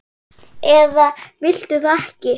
eða viltu það ekki?